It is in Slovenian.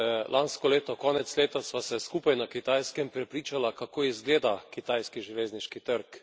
Lansko leto konec leta sva se skupaj na Kitajskem prepričala, kako izgleda kitajski železniški trg.